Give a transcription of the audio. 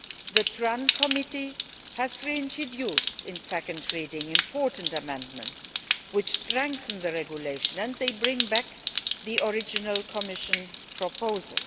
The TRAN Committee has reintroduced, at second reading, important amendments which strengthen the regulation, and they bring back the original Commission proposal.